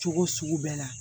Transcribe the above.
Cogo sugu bɛɛ la